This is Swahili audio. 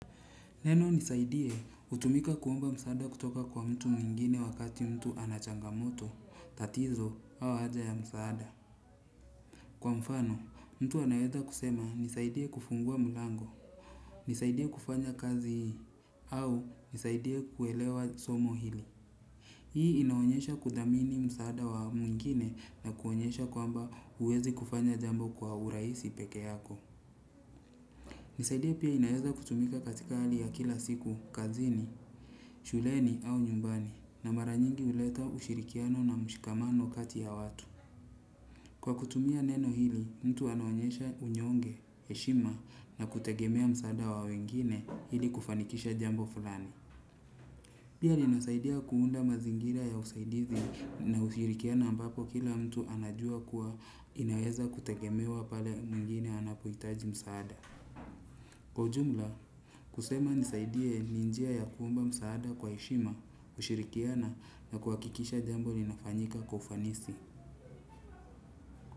Neno nisaidie hutumika kuomba msaada kutoka kwa mtu mwingine wakati mtu ana changamoto, tatizo, au haja ya msaada. Kwa mfano, mtu anaweza kusema nisaidie kufungua mlango. Nisaidie kufanya kazi hii au nisaidie kuelewa somo hili. Hii inaonyesha kudhamini msaada wa mwingine na kuonyesha kwamba huwezi kufanya jambo kwa urahisi peke yako. Nisaidie pia inaweza kutumika katika hali ya kila siku, kazini, shuleni au nyumbani na mara nyingi huleta ushirikiano na mshikamano kati ya watu. Kwa kutumia neno hili, mtu anaonyesha unyonge, heshima na kutegemea msaada wa wengine ili kufanikisha jambo fulani. Pia linasaidia kuunda mazingira ya usaidizi na ushirikiano ambapo kila mtu anajua kuwa inaweza kutegemewa pale mwingine anapohitaji msaada. Kwa ujumla, kusema nisaidie ni njia ya kuomba msaada kwa heshima, kushirikiana na kuhakikisha jambo linafanyika kwa ufanisi.